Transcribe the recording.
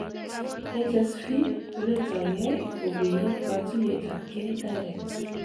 HSV koletagei kobuyen kotuyet ab gei direct